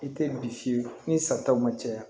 I tɛ bi fiyewu ni sataw ma caya